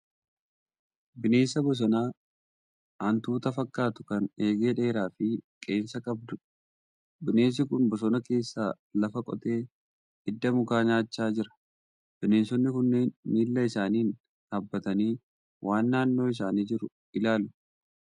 Bineensa bosonaa hantuuta fakkaatu kan eegee dheeraa fi qeensa qabduudha. Bineensi kun bosona keessaa lafa qotee idda mukaa nyaachaa jira. Bineensonni kunneen miila isaaniin dhaabbatanii waan naannoo isaanii jiru ilaalaa jiru.